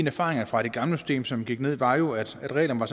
erfaringerne fra det gamle system som gik ned var jo at reglerne